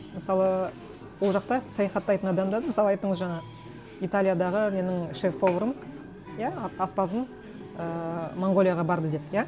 мысалы ол жақта саяхаттайтын адамдарды мысалы айттыңыз жаңа италиядағы менің шеф поварым иә аспазым ііі монғолияға барды деп иә